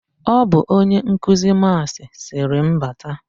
Ọ bụ onye nkuzi Maasị sịrị m bata.